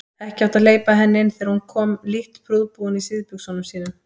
Ekki átti að hleypa henni inn þegar hún kom lítt prúðbúin í síðbuxunum sínum.